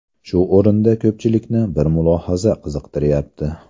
Shu o‘rinda ko‘pchilikni bir mulohaza qiziqtiryapti.